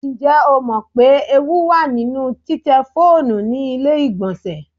Ǹjẹ́ ìwọ mọ̀ pé ewu wà nínú títẹ fóònù ní ilé ìgbọlnsẹ̀?